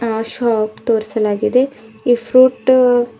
ಆ ಶಾಪ್ ತೋರಿಸಲಾಗಿದೆ ಈ ಫ್ರೂಟ್ --